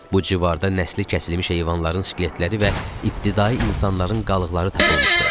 Bu civarda nəsli kəsilmiş heyvanların skeletləri və ibtidai insanların qalıqları tapılmışdı.